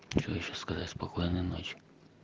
что ещё сказать спокойной ночи